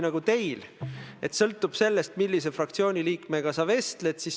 Nüüd, teie küsimuse teine osa puudutas kriitikat minu suunas, peaministri suunas.